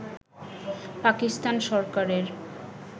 পাকিস্তান সরকারের